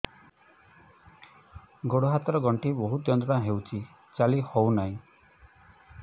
ଗୋଡ଼ ହାତ ର ଗଣ୍ଠି ବହୁତ ଯନ୍ତ୍ରଣା ହଉଛି ଚାଲି ହଉନାହିଁ